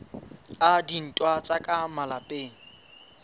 a dintwa tsa ka malapeng